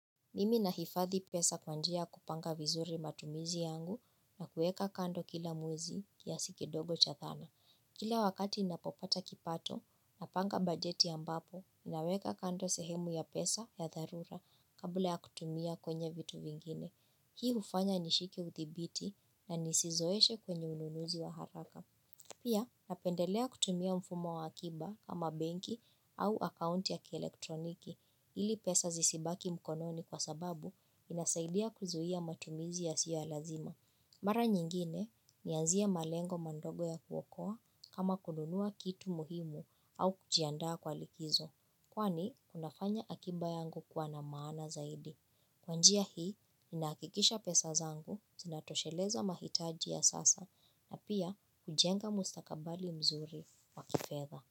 Mimi nahifadhi pesa kwa njia ya kupanga vizuri matumizi yangu na kueka kando kila mwezi kiasi kidogo cha thana. Kila wakati ninapopata kipato, napanga bajeti ambapo, naweka kando sehemu ya pesa ya dharura kabla ya kutumia kufanya vitu vingine. Hii ufanya nishike uthibiti na nisizoeshe kwenye ununuzi wa haraka. Pia napendelea kutumia mfumo wa akiba kama benki au akaunti ya kielektroniki ili pesa zisibaki mkononi kwa sababu inasaidia kuzuhia matumizi yasiyo ya lazima. Mara nyingine nanzia malengo mandogo ya kuokoa kama kununua kitu muhimu au kujiandaa kwa likizo. Kwani, unafanya akiba yangu kuwa na maana zaidi. Kwa njia hii, nina akikisha pesa zangu, zinatosheleza mahitaji ya sasa na pia kujenga mustakabali mzuri wa kifedha.